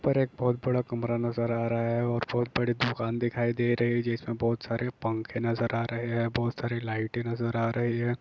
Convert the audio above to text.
ऊपर एक बहुत बड़ा कमरा नजर आ रहा है और बहुत बड़ी दुकान दिखाई दे रही है जिसमें बहुत सारे पंखे नजर आ रहे हैं बहुत सारी लाइटें नजर आ रही है।